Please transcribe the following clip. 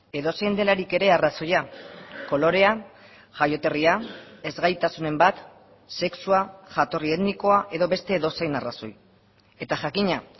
edozein delarik ere arrazoia kolorea jaioterria ezgaitasunen bat sexua jatorri etnikoa edo beste edozein arrazoi eta jakina